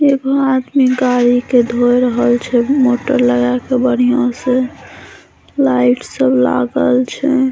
एगो आदमी गाड़ी के धो रहल छै मोटर लगा के बढ़ियाँ से लाइट सब लागल छै।